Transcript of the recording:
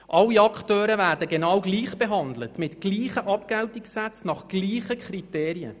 Alle Akteure werden genau gleich behandelt, mit gleichen Abgeltungssätzen und nach gleichen Kriterien.